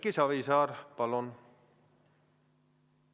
Erki Savisaar, palun!